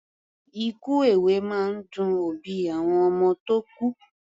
Ikú èwe máa ń dun òbí àwọn ọmọ tó kú.